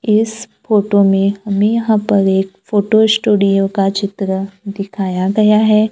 इस फोटो में हमें यहां पर एक फोटो स्टूडियो का चित्र दिखाया गया है।